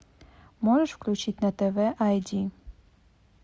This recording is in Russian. можешь включить на тв ай ди